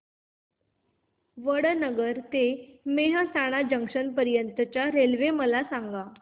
वडनगर ते मेहसाणा जंक्शन पर्यंत च्या रेल्वे मला सांगा